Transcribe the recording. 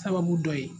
Sababu dɔ ye